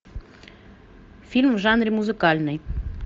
фильм в жанре музыкальный